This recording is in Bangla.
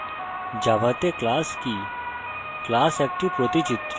এখন দেখা যাক জাভাতে class কি